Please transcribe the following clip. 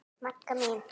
Magga mín.